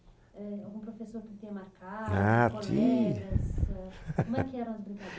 Eh, algum professor que tenha marcado, colegas, ahn... Como é que eram as